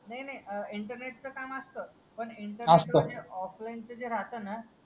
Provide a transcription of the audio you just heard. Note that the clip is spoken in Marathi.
नाही नाही इंटरनेट चा काम असत पण असतं ऑफलाईनच जे राहताना